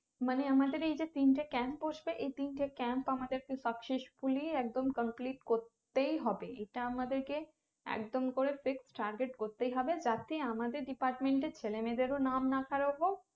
মানে আমাদের এই যে তিনটে camp বসবে এই তিনটে camp আমাদেরকে successfully একদম complete করতেই হবে এটা আমাদেরকে একদম করে fixed target করতেই হবে যাতে আমাদের department এর ছেলেমেয়েদেরও নাম না খারাপ না হোক